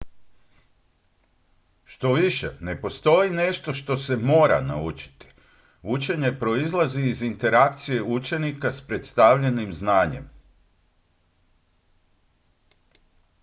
štoviše ne postoji nešto što se mora naučiti učenje proizlazi iz interakcije učenika s predstavljenim znanjem